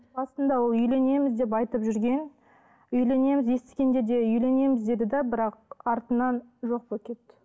басында ол үйленеміз деп айтып жүрген үйленеміз естігенде де үйленеміз деді де бірақ артынан жоқ болып кетті